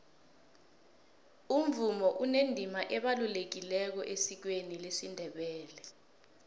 umvumo unendima ebalulekileko esikweni lesindebele